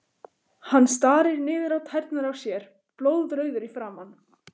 Hann starir niður á tærnar á sér, blóðrauður í framan.